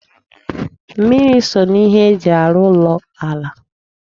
Mmiri so n'ihe eji arụ ụlọ ala